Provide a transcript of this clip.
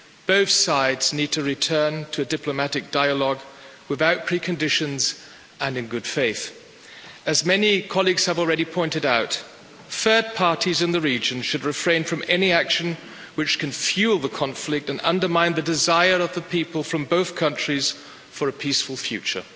Both sides need to return to diplomatic dialogue without preconditions and in good faith. As many colleagues have already pointed out, third parties in the region should refrain from any action which can fuel the conflict and undermine the desire of the people from both countries for a peaceful future.